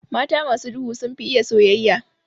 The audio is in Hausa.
Mata masu duhu sunfi iya soyayya.